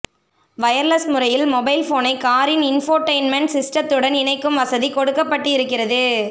wireless முறையில் மொபைல்போனை காரின் இன்ஃபோடெயின்மென்ட் சிஸ்டத்துடன் இணைக்கும் வசதி கொடுக்கப்பட்டு இருக்கிரது